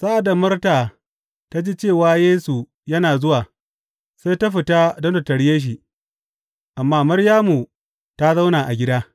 Sa’ad da Marta ta ji cewa Yesu yana zuwa, sai ta fita don ta tarye shi, amma Maryamu ta zauna a gida.